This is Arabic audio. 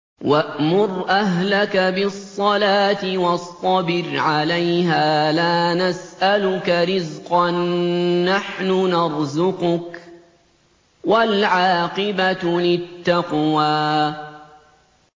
وَأْمُرْ أَهْلَكَ بِالصَّلَاةِ وَاصْطَبِرْ عَلَيْهَا ۖ لَا نَسْأَلُكَ رِزْقًا ۖ نَّحْنُ نَرْزُقُكَ ۗ وَالْعَاقِبَةُ لِلتَّقْوَىٰ